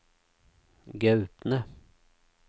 Gaupne